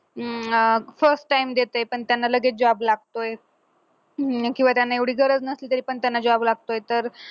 अं first time देतय पण त्यांना लगेच job लागतोय किंवा त्यांना एवढी गरज नसली तरी पण त्यांना job लागतोय